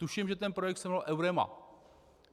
Tuším, že ten projekt se jmenoval Eurema.